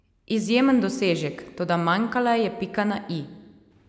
Izjemen dosežek, toda manjkala je pika na i.